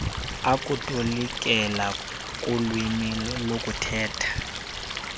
okutolikela kulwimi lokuthetha